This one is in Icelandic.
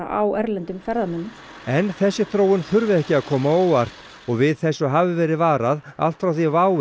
á erlendum ferðamönnum en þessi þróun þurfi ekki að koma á óvart og við þessu hafi verið varað allt frá því WOW